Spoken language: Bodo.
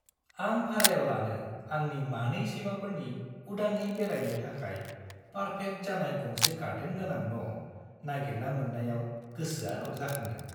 आं भारायाव लानो आंनि मानै सैमाफोरनि उदाङै बेरायनो थाखाय पार्फेक्ट जानाय गंसे गार्डेन गोनां न' नागिरना मोन्नायाव गोसोआ रंजाखांदों।